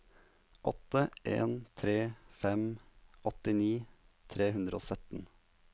åtte en tre fem åttini tre hundre og sytten